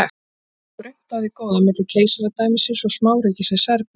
þess vegna var grunnt á því góða milli keisaradæmisins og smáríkisins serbíu